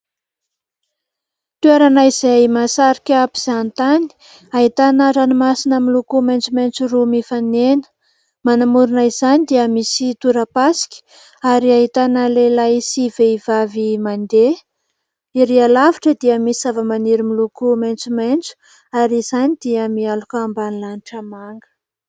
Toerana izay masarika mpizahantany ahitana ranomasina miloko maitsomaitso roa mifanena, manamorina izany dia misy tora-pasika ary ahitana lehilahy sy vehivavy mandeha, ery lavitra dia misy zavamaniry miloko maitsomaitso ary izany dia mialoka ambany lanitra manga.